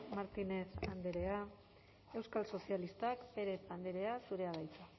martínez andrea euskal sozialistak pérez andrea zurea da hitza